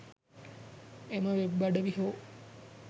එම වෙබ් අඩවි හෝ